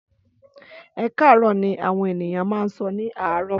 Ẹkarọ ni awọn eniyan ma n sọ ni àárò